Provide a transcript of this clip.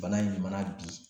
Bana ɲumanna bi